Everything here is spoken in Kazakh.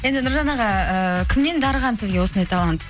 енді нұржан аға ыыы кімнен дарыған сізге осындай талант